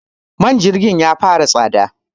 man jirgi ya fara tsada